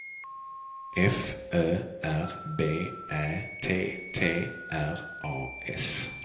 F Ö R B Ä T T R A S